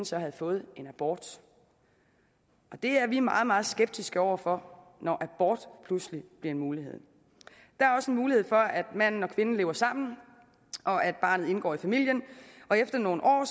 så havde fået en abort det er vi meget meget skeptiske over for når abort pludselig bliver en mulighed der er også en mulighed for at manden og kvinden lever sammen og at barnet indgår i familien efter nogle år